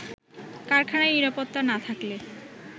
কারখানায় নিরাপত্তা না থাকলে